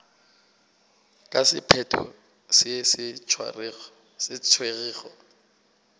ka sephetho se se tšerwego